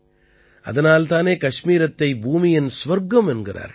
அதனால் தானே கஷ்மீரத்தை பூமியின் சுவர்க்கம் என்கிறார்கள்